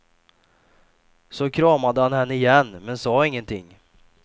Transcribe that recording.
Så kramade han henne igen men sa ingenting.